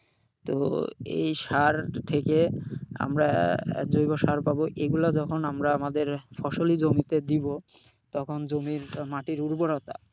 তো এই সার থেকে আমরা জৈবসার পাবো। এইগুলো যখন আমরা আমাদের ফসলি জমিতে দিবো তখন জমির মাটির উর্বরতা,